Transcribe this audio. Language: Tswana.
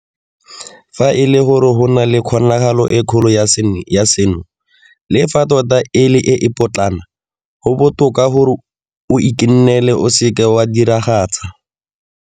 Fa e le gore go na le kgonagalo e kgolo ya seno, le fa tota e le e e potlana, go botoka gore o ikennele o seke wa e diragatsa.